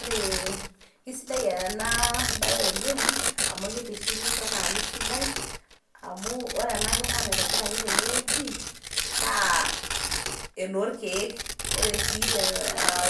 Ore isidai ena bae oleng amu kitishipisho naa kisidai amu ore ena kima naitobiraki tene wueji naa enoorkiek. ore sii